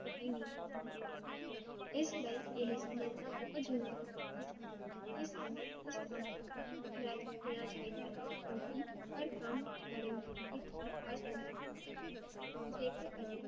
ਇਸ ਲਈ ਏਹ ਸਮਝਣਾ ਬਹੁਤ ਜਰੂਰੀ ਹੈ ਸਾਨੂੰ ਕਿਸ ਸਮੇ ਕਿਸ ਕੱਮ ਨੂੰ ਮਹੱਤਵ ਦੇਣਾ ਚਾਹੀਦਾ ਹੈ, ਕਿਉਂਕੀ ਹਰ ਕੱਮ ਕਰਨ ਦੀ ਖਾਸ ਉਮਰ ਹੁੰਦੀ ਹੈ, ਜੇ ਕਰ ਅਸੀ